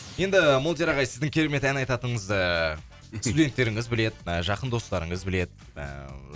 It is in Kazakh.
енді молдияр ағай сіздің керемет ән айтатыныңызды студенттеріңіз біледі жақын достарыңыз біледі ііі